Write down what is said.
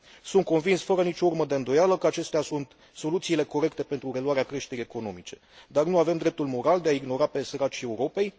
Sunt convins, fără nicio urmă de îndoială, că acestea sunt soluțiile corecte pentru reluarea creșterii economice, dar nu avem dreptul moral de a i ignora pe săracii Europei.